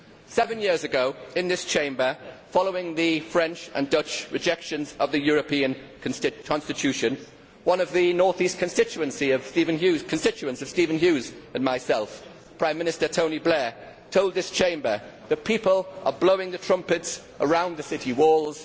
Seven years ago in this Chamber, following the French and Dutch rejections of the European constitution, one of the north east constituents of Stephen Hughes and myself, Prime Minister Tony Blair, told this Chamber that people are blowing the trumpets around the city walls.